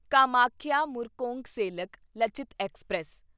Kamakhya Murkongselek Lachit express